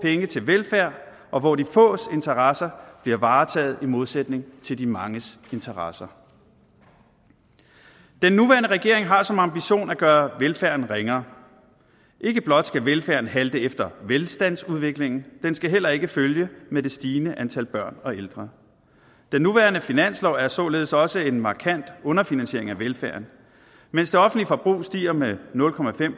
penge til velfærd og hvor de fås interesser bliver varetaget i modsætning til de manges interesser den nuværende regering har som ambition at gøre velfærden ringere ikke blot skal velfærden halte efter velstandsudviklingen den skal heller ikke følge med det stigende antal børn og ældre den nuværende finanslov er således også en markant underfinansiering af velfærden mens det offentlige forbrug stiger med nul